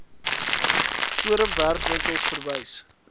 forum werkwinkels verwys